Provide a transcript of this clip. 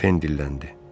Pen dilləndi.